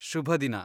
ಶುಭದಿನ.